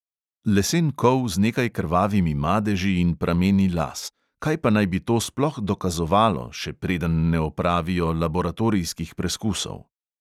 Lesen kol z nekaj krvavimi madeži in prameni las; kaj pa naj bi to sploh dokazovalo, še preden ne opravijo laboratorijskih preskusov?